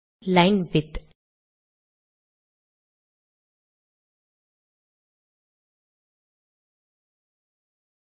line width